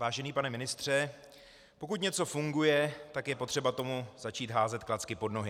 Vážený pane ministře, pokud něco funguje, tak je potřeba tomu začít házet klacky pod nohy.